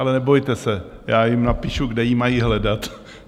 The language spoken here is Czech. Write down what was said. Ale nebojte se, já jim napíšu, kde ji mají hledat.